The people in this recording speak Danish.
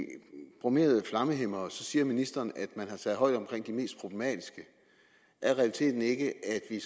bromerede flammehæmmere siger ministeren at man har taget hånd om de mest problematiske er realiteten ikke at vi